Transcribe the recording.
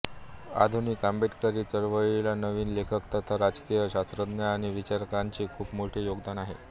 आधुनिक आंबेडकरी चळवळीला नवीन लेखक तथा राजकीय शास्त्रज्ञ आणि विचारकांचे खुप मोठे योगदान आहे